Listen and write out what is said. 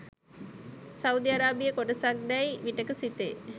Saudi අරාබියේ කොටසක් දැයි විටෙක සිතේ.